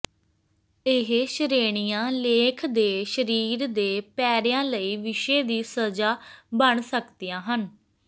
ਇਹ ਸ਼੍ਰੇਣੀਆਂ ਲੇਖ ਦੇ ਸਰੀਰ ਦੇ ਪੈਰਿਆਂ ਲਈ ਵਿਸ਼ੇ ਦੀ ਸਜ਼ਾ ਬਣ ਸਕਦੀਆਂ ਹਨ